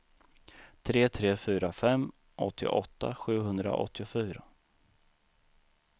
tre tre fyra fem åttioåtta sjuhundraåttiofyra